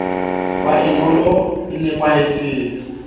be e bonolo e napahetseng